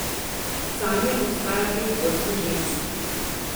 Zanje obstaja pet vrst žensk.